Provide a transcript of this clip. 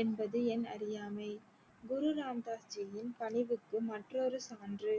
என்பது எனது அறியாமை குரு ராம்தாஸ் ஜியின் பணிவுக்கு மற்றொரு சான்று